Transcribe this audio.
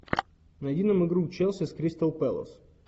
найди нам игру челси с кристал пэлас